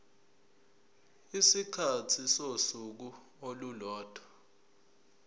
isikhathi sosuku olulodwa